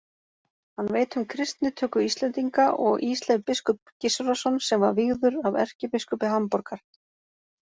Hann veit um kristnitöku Íslendinga og Ísleif biskup Gissurarson sem var vígður af erkibiskupi Hamborgar.